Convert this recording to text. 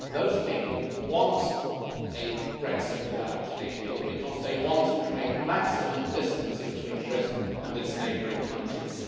Those people want a Brexit without a deal because they want to create maximum distance between Britain and its neighbouring countries.